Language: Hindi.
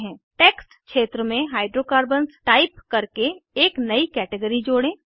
टेक्स्ट क्षेत्र में हाइड्रोकार्बन्स टाइप करके एक नयी कैटेगरी जोड़ें